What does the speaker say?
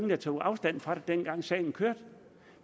der tog afstand fra det dengang sagen kørte